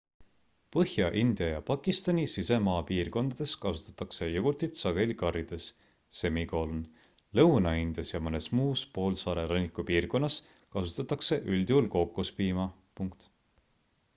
põhja-india ja pakistani sisemaapiirkondades kasutatakse jogurtit sageli karrides lõuna-indias ja mõnes muus poolsaare rannikupiirkonnas kasutatakse üldjuhul kookospiima